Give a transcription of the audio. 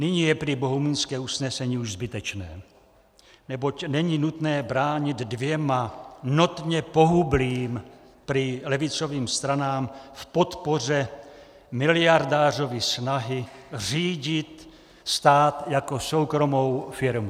Nyní je prý bohumínské usnesení už zbytečné, neboť není nutné bránit dvěma notně pohublým, prý levicovým stranám v podpoře miliardářovy snahy řídit stát jako soukromou firmu.